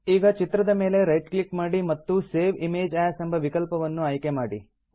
ಈಗ ಚಿತ್ರದ ಮೇಲೆ ರೈಟ್ ಕ್ಲಿಕ್ ಮಾಡಿ ಮತ್ತು ಸೇವ್ ಇಮೇಜ್ ಎಎಸ್ ಎಂಬ ವಿಕಲ್ಪವನ್ನು ಆಯ್ಕೆ ಮಾಡಿ